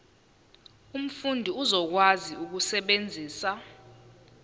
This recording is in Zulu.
umfundi uzokwazi ukusebenzisa